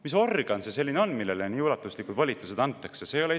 Mis organ see selline on, millele nii ulatuslikud volitused antakse?